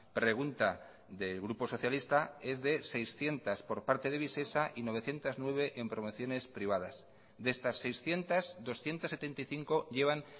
pregunta del grupo socialista es de seiscientos por parte de visesa y novecientos nueve en promociones privadas de estas seiscientos doscientos setenta y cinco llevan